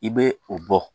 I bɛ o bɔ